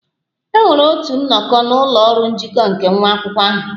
E nwere otu nnọkọ na ụlọ ọrụ njikọ nke nwa akwụkwọ ahụ